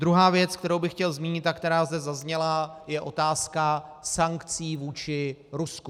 Druhá věc, kterou bych chtěl zmínit a která zde zazněla, je otázka sankcí vůči Rusku.